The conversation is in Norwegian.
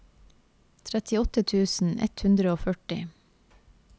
trettiåtte tusen ett hundre og førti